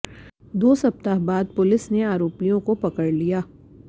दो सप्ताह बाद पुलिस ने आरोपियों को पकड़ लिया